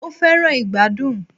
O fẹràn ìgbàdùn.